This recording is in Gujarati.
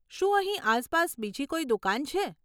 શું અહીં આસપાસ બીજી કોઈ દુકાન છે?